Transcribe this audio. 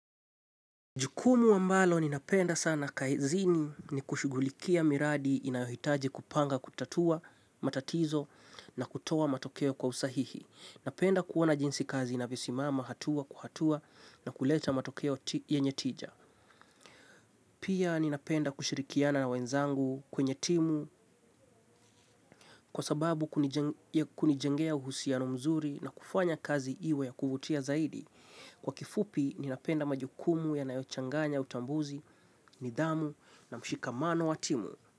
Jukumu ambalo ninapenda sana kaezini ni kushugulikia miradi inayohitaji kupanga kutatua matatizo na kutoa matokeo kwa usahihi. Napenda kuona jinsi kazi inavyosimama hatua kwa hatua na kuleta matokeo yenye tija. Pia, ninapenda kushirikiana na wenzangu kwenye timu, kwa sababu ya kunijengea uhusiano mzuri na kufanya kazi iwe ya kuvutia zaidi. Kwa kifupi, ninapenda majukumu yanayochanganya utambuzi, nidhamu na mshikamano watimu.